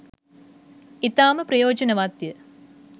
ඉතාම ප්‍රයෝජනවත් ය.